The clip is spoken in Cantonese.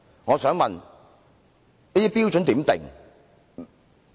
我想問有關標準如何釐定？